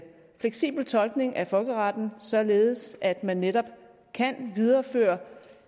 fleksibel tolkning af folkeretten således at man netop kan videreføre